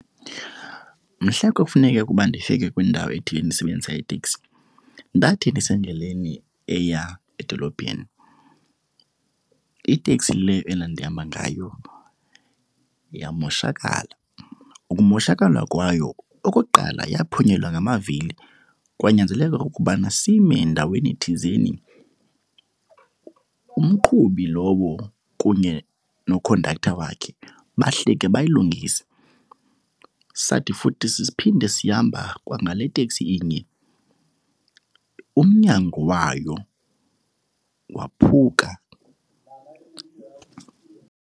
Mhla kwakufuneke kuba ndifike kwindawo ethile ndisebenzisa iteksi, ndathi ndisendleleni eya edolophini iteksi le endandihamba ngayo yamoshakala. Ukumoshakala kwayo, okokuqala yaphunyelwa ngamavili kwanyanzeleka ukubana sime ndaweni thizeni. Umqhubi lowo kunye nokhondaktha wakhe bahlike bayilungise. Sathi futhi sesiphinde sihamba kwangale teksi inye umnyango wayo waphuka.